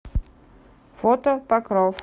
фото покров